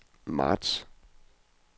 marts